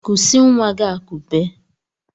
Kụsị nwa gị akụbe!